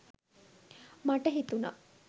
මට හිතුනා